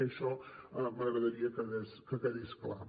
i això m’agradaria que quedés clar